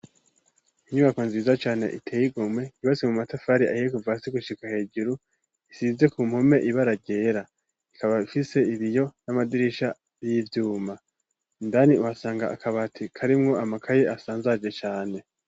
Inyubako nziza cane itegumwe ibase mu matafari ahiye kuva si gushika hejuru isize ku mpome iba ararera ikaba fise ibiyo n'amadirisha y'ivyuma indani uhasanga akaba ati karimwo amakaye asanzaje cane.